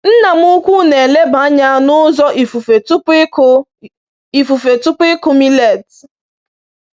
Nna m ukwu na‑eleba anya n’ụzọ ifufe tupu ịkụ ifufe tupu ịkụ millet.